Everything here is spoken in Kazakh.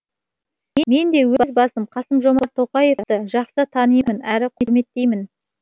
мен де өз басым қасым жомарт тоқаевты жақсы танимын әрі құрметтеймін